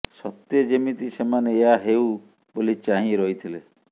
ସତେ ଯେମିତି ସେମାନେ ଏହା ହେଉ ବୋଲି ଚାହିଁ ରହିଥିଲେ